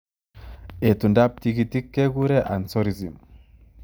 Etundo ap tigitik kekuree anseurysm.